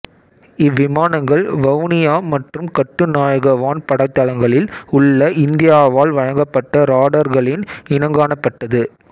இவ்விமானங்கள் வவுனியா மற்றும் கட்டுநாயக்க வான் படைத்தளங்களில் உள்ள இந்தியாவால் வழங்கப்பட்ட ராடார்களின் இணங்கானப்பட்டது